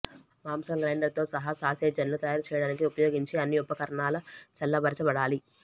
మాంసం గ్రైండర్తో సహా సాసేజ్లను తయారు చేయడానికి ఉపయోగించే అన్ని ఉపకరణాలు చల్లబరచబడాలి